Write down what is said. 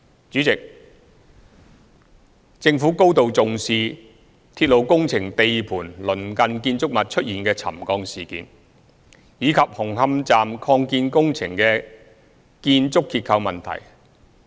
主席，政府高度重視鐵路工程地盤鄰近建築物出現的沉降事件，以及紅磡站擴建工程的建築結構問題。